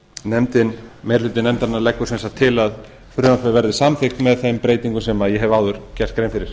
meiri hluti nefndarinnar leggur sem sagt til að frumvarpið verði samþykkt með þeim breytingum sem ég hef áður gert grein fyrir